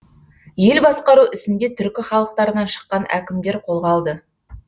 ел басқару ісін де түркі халықтарынан шыққан әкімдер қолға алды